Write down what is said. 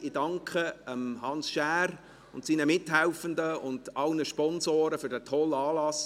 Ich danke Hans Schär und seinen Mithelfenden sowie allen Sponsoren für diesen tollen Anlass.